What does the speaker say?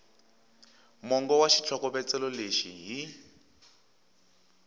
mongo wa xitlhokovetselo lexi hi